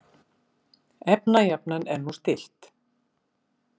Efnajafnan er nú stillt.